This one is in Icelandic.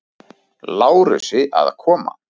Lárusi að koma.